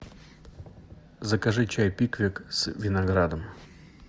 закажи чай пиквик с виноградом